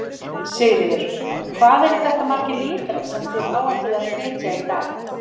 Sigríður: Og hvað eru þetta margir lítrar sem þið áætlið að flytja í dag?